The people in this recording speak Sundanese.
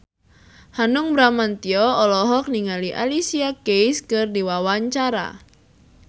Hanung Bramantyo olohok ningali Alicia Keys keur diwawancara